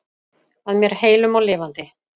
Að mér heilum og lifandi.